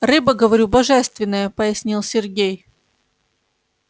рыба говорю божественная пояснил сергей